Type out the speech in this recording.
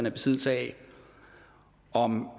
i besiddelse af om